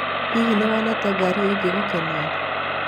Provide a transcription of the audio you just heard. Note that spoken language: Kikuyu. Hihi nĩ wonete ngari ĩngĩgũkenia?